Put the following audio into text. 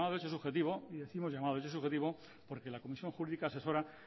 el llamado derecho subjetivo y décimos llamado de derecho subjetivo porque la comisión jurídica asesora